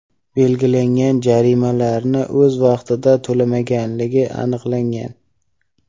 belgilangan jarimalarni o‘z vaqtida to‘lamaganligi aniqlangan.